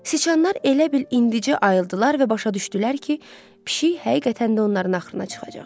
Siçanlar elə bil indicə ayıldılar və başa düşdülər ki, pişik həqiqətən də onların axrına çıxacaq.